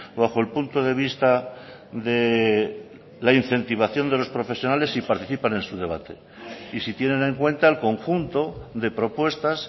bajo el punto de vista de la incentivación de los profesionales y participan en su debate y si tienen en cuenta el conjunto de propuestas